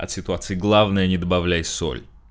от ситуации главное не добавляй соль